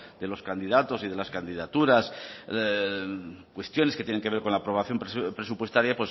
de los candidatos y de las candidaturas cuestiones que tienen que ver con la aprobación presupuestaria